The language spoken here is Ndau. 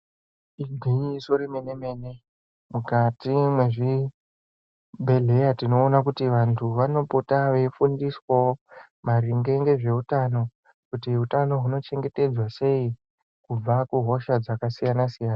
Igwinyiso re mene mene mukati me zvibhedhleya tinoona kuti vantu vano pota vei fundiswawo maringe ngezve utano kuti utano huno chengetedzwa sei kubva ku hosha dzaka siyana siyana.